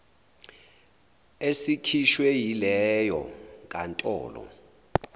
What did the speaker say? esikhishwe yileyo nkantolo